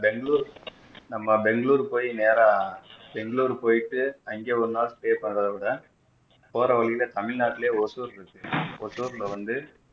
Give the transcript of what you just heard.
பெங்களூர் நம்ம பெங்களூர் போய் நேரா பெங்களூர் போயிட்டு அங்க ஒரு நாள் ஸ்டேட் பண்றத விட போற வழியிலேயே தமிழ்நாட்டிலேயே ஓசூர் இருக்கு ஓசூரில் வந்து